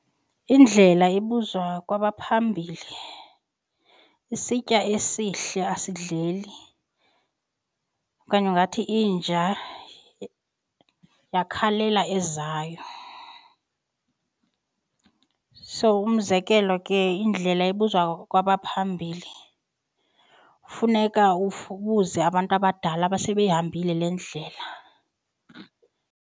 Indlela ibuzwa kwabaphambili, isitya esihle asidleli okanye ungathi inja yakhalela ezayo. So umzekelo ke indlela ibuzwa kwabaphambili funeka ubuze abantu abadala abasebeyihambile le ndlela.